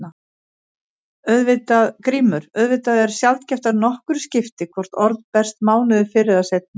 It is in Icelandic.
GRÍMUR: Auðvitað er sjaldgæft að nokkru skipti hvort orð berast mánuði fyrr eða seinna.